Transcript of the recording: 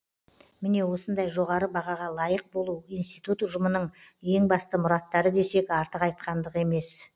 міне осындай жоғары бағаға лайық болу институт ұжымының ең басты мұраттары десек артық айтқандық емес